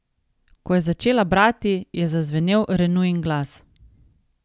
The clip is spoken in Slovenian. Ko je začela brati, je zazvenel Renujin glas.